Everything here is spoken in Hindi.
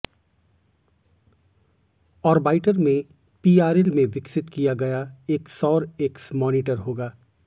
ऑरबाइटर में पीआरएल में विकसित किया गया एक सौर एक्स मॉनिटर होगा